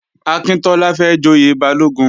Akíntọ́lá fẹ́ joyè Balógun